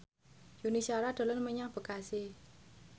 Yuni Shara dolan menyang Bekasi